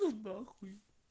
ну нахуй